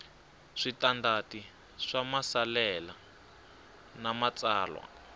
switandati swa maasesele na matsalwa